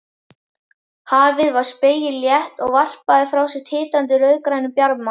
Hafið var spegilslétt og varpaði frá sér titrandi rauðgrænum bjarma.